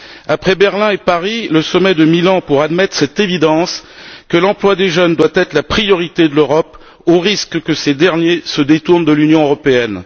Après Berlin et Paris, le sommet de Milan, pour admettre cette évidence que l'emploi des jeunes doit être la priorité de l'Europe, au risque que ces derniers se détournent de l'Union européenne.